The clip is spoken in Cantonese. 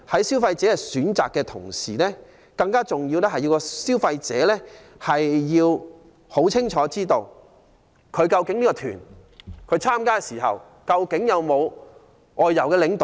消費者在選擇的同時，更重要是要清楚知道，參加的旅行團究竟有否安排外遊領隊？